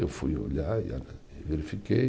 Eu fui olhar e ah, e verifiquei.